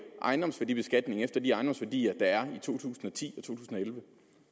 ejendomsværdibeskatning efter de ejendomsværdier der er i to tusind og ti og 2011